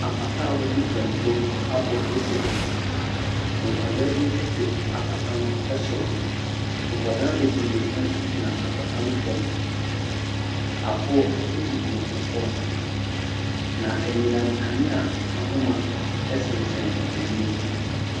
Apata a wɔde pamporo abɔ esi hɔ. Nkɔdaa bi te apata no ɛsoro. Nkɔda bebree nso gyina apata no fam. Aboɔ egugu ɛfam. Na anyinam kanea ahoma ɛsensɛn ewiem.